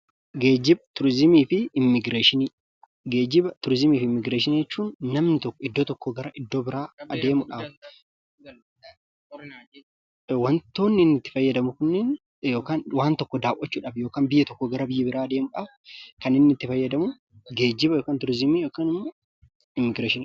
Geejjiba, tuurizimiifi immigreeshinii jechuun namni tokko iddoo tokkoo iddoo biraa adeemuudhaaf wantootni itti fayyadamnu kunneen yookaan wanta tokko daawwachuudhaaf yookaan biyya tokkoo gara biyya biraa deemuudhaaf kan itti fayyadamu geejjiba yookaan turizimii yookaan immigreeshinii jedhama.